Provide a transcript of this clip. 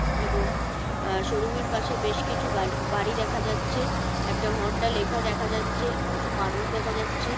এবং শোরুম -এর পাশে বেশ কিছু গাড়ি বাড়ি দেখা যাচ্ছে। একটা হোন্ডা লেখা দেখা যাচ্ছে। কিছু মানুষ দেখা যাচ্ছে ।